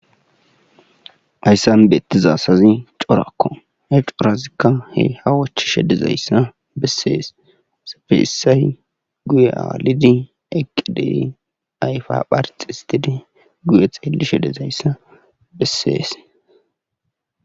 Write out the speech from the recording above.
Hayssan beettiza asazikka corakko he corazikka ha wochishe dizayssa bessees bessay guye aalidi eqqidi ayfa pharxxisttidi gue xeelishe dizayssa bessees.